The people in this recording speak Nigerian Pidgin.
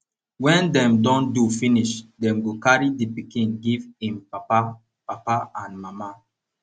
wen dem don do finish dem go carry di pikin give em papa papa and mama